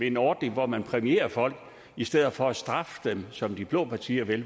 en ordning hvor man præmierer folk i stedet for at straffe dem som de blå partier vil